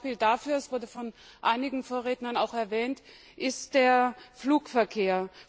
Ein Beispiel dafür es wurde von einigen Vorrednern erwähnt ist der Flugverkehr.